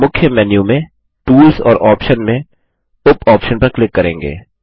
हम मुख्य मेन्यू में टूल्स और ऑप्शन में उप ऑप्शन पर क्लिक करेंगे